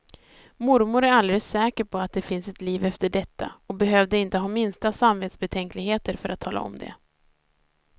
Mormor är alldeles säker på att det finns ett liv efter detta och behövde inte ha minsta samvetsbetänkligheter för att tala om det.